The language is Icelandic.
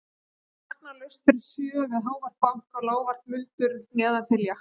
En vakna laust fyrir sjö við hávært bank og lágvært muldur neðan þilja.